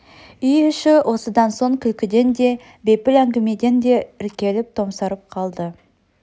үй іші осыдан соң күлкіден де бейпіл әңгімеден де іркіліп томсарып қалды